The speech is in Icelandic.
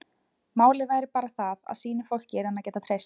Málið væri bara það að sínu fólki yrði hann að geta treyst.